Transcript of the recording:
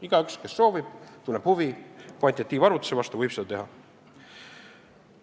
Igaüks, kes tunneb huvi kvantitatiivse arvutuse vastu, võib seda arvutust teha.